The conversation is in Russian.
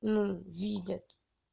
ну видят